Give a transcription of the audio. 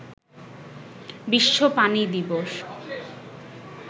বিশ্ব পানি দিবস